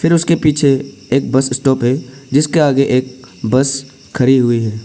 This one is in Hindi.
फिर उसके पीछे एक बस स्टॉप है जिसके आगे एक बस खड़ी हुई है।